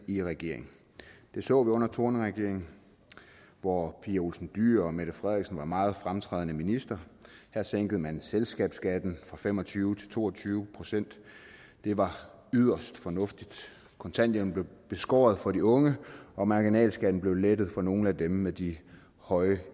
i regeringen det så vi under thorning schmidt regeringen hvor pia olsen dyhr og mette frederiksen var meget fremtrædende ministre her sænkede man selskabsskatten fra fem og tyve til to og tyve procent det var yderst fornuftigt kontanthjælpen blev beskåret for de unge og marginalskatten blev lettet for nogle af dem med de høje